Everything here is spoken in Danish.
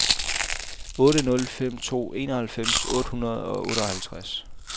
otte nul fem to enoghalvfems otte hundrede og otteoghalvtreds